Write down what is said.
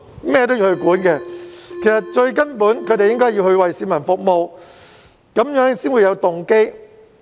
其實他們最根本的任務應該是為市民服務，這樣才會有動機。